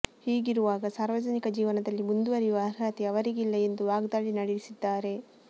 ಹೀಗಿರುವಾಗ ಸಾರ್ವಜನಿಕ ಜೀವನದಲ್ಲಿ ಮುಂದುವರಿಯುವ ಅರ್ಹತೆ ಅವರಿಗಿಲ್ಲ ಎಂದು ವಾಗ್ದಾಳಿ ನಡೆಸಿದ್ದಾರೆ